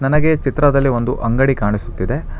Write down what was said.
ನನಗೆ ಚಿತ್ರದಲ್ಲಿ ಒಂದು ಅಂಗಡಿ ಕಾಣಿಸುತ್ತಿದೆ.